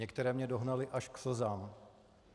Některé mě dohnaly až k slzám.